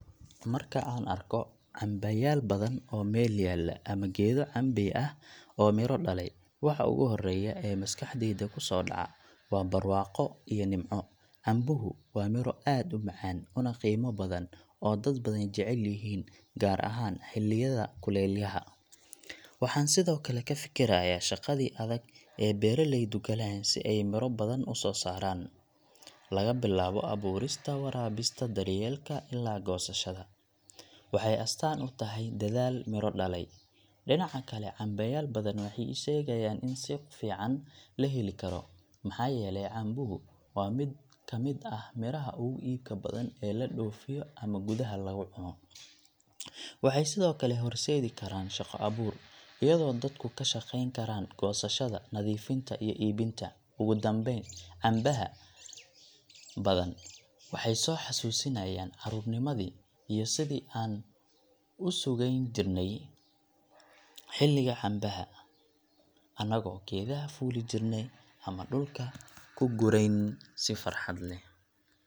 Marka aan arko cambayaal badan oo meel yaalla ama geedo cambey ah oo miro dhalay, waxa ugu horreeya ee maskaxdayda ku soo dhaca waa barwaaqo iyo nimco. Cambuhu waa miro aad u macaan, una qiimo badan, oo dad badan jecel yihiin, gaar ahaan xilliyada kulayaha. Waxaan sidoo kale ka fikirayaa shaqadii adag ee beeraleydu galeen si ay miro badan u soo saaraan – laga bilaabo abuurista, waraabinta, daryeelka ilaa goosashada. Waxay astaan u tahay dadaal miro dhalay. Dhinaca kale, cambayaal badan waxay ii sheegayaan in suuq fiican la heli karo, maxaa yeelay cambuhu waa mid ka mid ah miraha ugu iibka badan ee la dhoofiyo ama gudaha lagu cuno. Waxay sidoo kale horseedi karaan shaqo abuur, iyadoo dadku ka shaqayn karaan goosashada, nadiifinta, iyo iibinta. Ugu dambayn, cambaha badan waxay soo xusuusinayaan carruurnimadii iyo sidi aan u sugayn jirnay xilliga cambaha, anagoo geedaha fuuli jirnay ama dhulka ka gurayn si farxad leh.